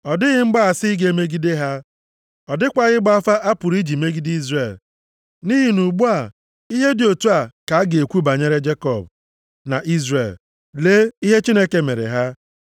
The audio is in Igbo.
Ọ dịghị mgbaasị ga-emegide ha. Ọ dịkwaghị ịgba afa a pụrụ iji megide Izrel. Nʼihi na ugbu a, ihe dị otu a ka a ga-ekwu banyere Jekọb na Izrel. ‘Lee, ihe Chineke mere ha.’